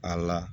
A la